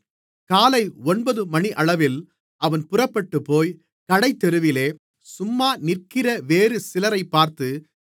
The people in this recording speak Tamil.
காலை ஒன்பதுமணியளவில் அவன் புறப்பட்டுப்போய் கடைத்தெருவிலே சும்மா நிற்கிற வேறு சிலரைப் பார்த்து